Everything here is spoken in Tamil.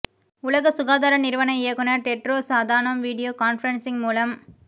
உலக சுகாதார நிறுவன இயக்குனர் டெட்ரோஸ் அதானோம் வீடியோ கான்பிரன்சிங் மூலம்